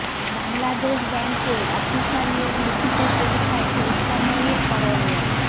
বাংলাদেশ ব্যাংকে অফিসার নিয়োগ লিখিত পরীক্ষায় শেষ সময়ের করণীয়